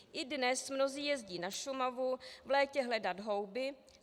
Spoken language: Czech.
I dnes mnozí jezdí na Šumavu v létě hledat houby.